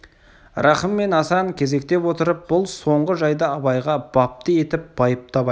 рахым мен асан кезектеп отырып бұл соңғы жайды абайға бапты етіп байыптап айтты